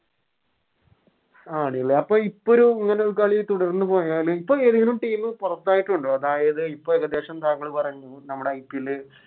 ആണ്ലെ അപ്പൊ ഇപ്പോരു ഇങ്ങനൊരു കളി തുടർന്ന് പോയാല് ഇപ്പൊ ഏതെങ്കിലും Team പുറത്തായിട്ടുണ്ടോ അതായത് ഇപ്പൊ ഏകദേശം താങ്കള് പറഞ്ഞു നമ്മുടെ IPL